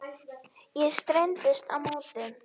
Ég streittist á móti.